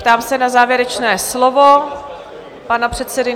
Ptám se na závěrečné slovo pana předsedy?